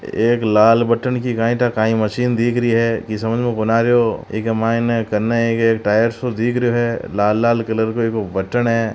एक लाल बटण की काई टा काई मशीन दीख री है इ समज में कोन आ रियो इके मायने कने एक-एक टायर सो दिख रयो है लाल-लाल कलर इको बटण है।